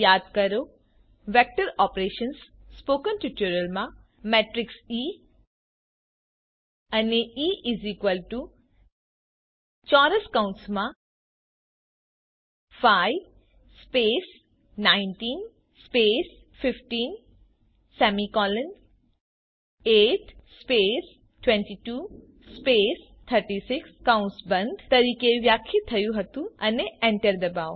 યાદ કરો vector operations spoken ટ્યુટોરીયલમાં મેટ્રીક્સ ઇ એ ઇ 5 19 158 22 36 તરીકે વ્યાખ્યાયિત થયું હતું અને એન્ટર ડબાઓ